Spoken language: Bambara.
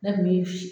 Ne kun bi